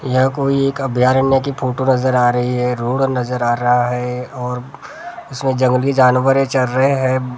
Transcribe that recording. यहाँ कोई अभयारण्य कि फोटो नजर आ रही है रोड नजर आ रहा है और उसमें जंगली जानवरे चढ़ रहे हैं भैसा वगैरह।